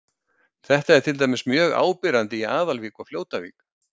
Þetta er til dæmis mjög áberandi í Aðalvík og Fljótavík.